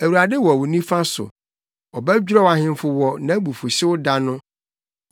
Awurade wɔ wo nifa so; ɔbɛdwerɛw ahemfo wɔ nʼabufuwhyew da no.